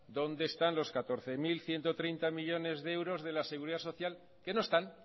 dónde están los catorce mil ciento treinta millónes de euros de la seguridad social que no están